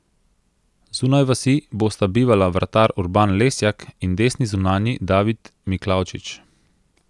Zunaj vasi bosta bivala vratar Urban Lesjak in desni zunanji David Miklavčič.